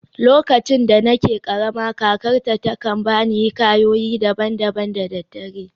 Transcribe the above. Lokacin da nake karama, kakarta ta kan ba ni hikayoyi daban-daban da daddare.